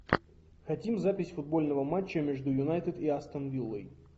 хотим запись футбольного матча между юнайтед и астон виллой